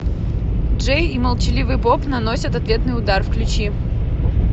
джей и молчаливый боб наносят ответный удар включи